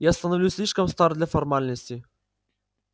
я становлюсь слишком стар для формальностей